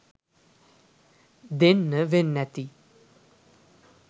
දෙන්න වෙන්නැති.